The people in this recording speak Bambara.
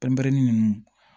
Pɛnpɛnpɛrɛnnin nunnu